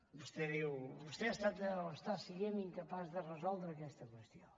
vostè diu vostè està sent incapaç de resoldre aquesta qüestió